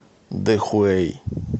дэхуэй